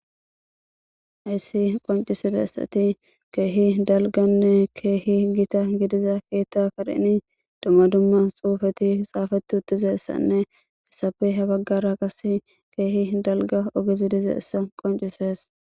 Ha issi qoncissida issiti keehi dalgganne keehi gita giddida dumma dumma xuugetidi xafeti uttida izane izape ha baggara qassi keehi dalgga giddida issa qoncises.